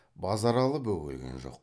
базаралы бөгелген жоқ